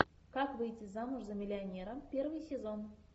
как выйти замуж за миллионера первый сезон